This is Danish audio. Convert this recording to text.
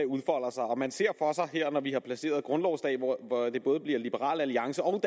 udfolder sig og man ser for sig når vi har passeret grundlovsdag hvor det både bliver liberal alliance og